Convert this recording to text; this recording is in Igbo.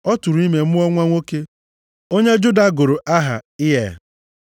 Ọ tụụrụ ime mụọ nwa nwoke, onye Juda gụrụ aha Ịa